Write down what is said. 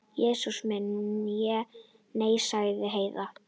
Jesús minn, nei, sagði Heiða.